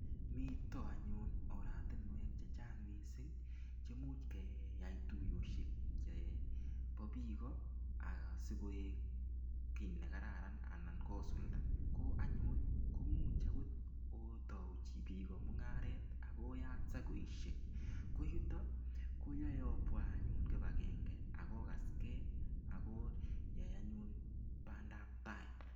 Mito anyun oratinwek che chang mising che much keyai tuiyosiek chebo biik asigoek kiy ne kararan anan kosulda. Ko anyun ko much agot otau biik mungaret ak oyat sakoisiek. Ko yuto koyae obwa anyun kibakenge ak ogaske agoyai anyun bandab tai.